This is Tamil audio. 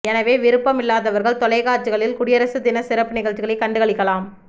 எனவே விருப்பமில்லாதவர்கள் தொலை காட்சி களில் குடியரசு தின சிறப்பு நிகழ்ச்சிகளை கண்டு களிக்கலாம்